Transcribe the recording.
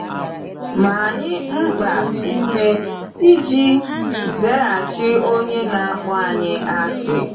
Ma anyị mkpa ume iji ‘zaghachi onye na-akpọ anyị asị.’